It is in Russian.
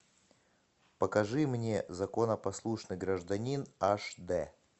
покажи мне законопослушный гражданин аш дэ